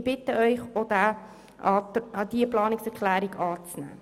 Ich bitte Sie, auch diese Planungserklärung anzunehmen.